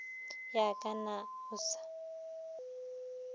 ya ka na o sa